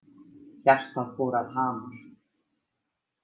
Hjartað fór að hamast.